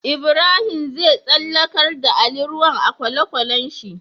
Ibrahim zai tsallakar da ali ruwan a kwale kwalen shi